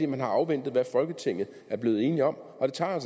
man har afventet hvad folketinget er blevet enige om og det tager